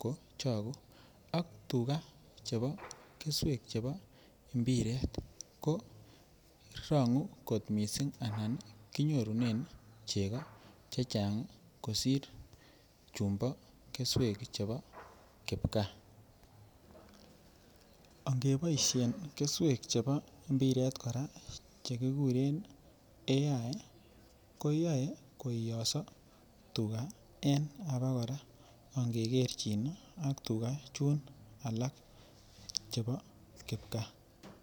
ko chogunak tuga chebo keswek chebo mpiret ko rogu kot missing anan kinyorunen chego chechang' kosir chumbo keswek chebo kipkaa. Onge boishen keswek chebo mpiret koraa che kiguren AI koyoe koiyoso tuga en aba koraa ange kerchin ak tuga Chun alak chebo kipkaa.